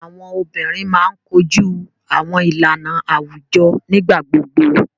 Awọn obinrin máa ń koju awọn ilana awujọ nigbagbogbo.